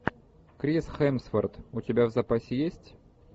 крис хемсворт у тебя в запасе есть